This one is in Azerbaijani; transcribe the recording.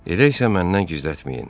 Elə isə məndən gizlətməyin.